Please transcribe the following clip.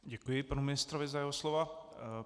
Děkuji panu ministrovi za jeho slova.